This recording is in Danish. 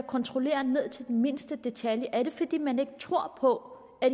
kontrollere ned til mindste detalje er det fordi man ikke tror på at